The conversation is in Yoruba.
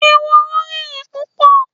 Ehoro rìnrìn púpò